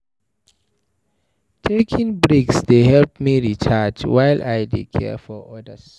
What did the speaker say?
Taking breaks dey help me recharge while I dey care for others.